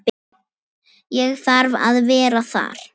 Ég þarf að vera þar.